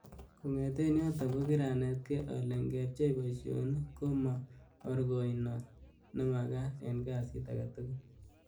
Kongeten yoton ko kiranetge, ale ingemchei boisionik ko mo orkoinot nemakat en kasit agetugul.